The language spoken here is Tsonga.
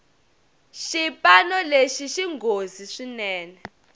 xipano lexi xinghozi swinene